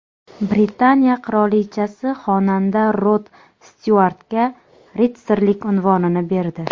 Britaniya qirolichasi xonanda Rod Styuartga ritsarlik unvonini berdi.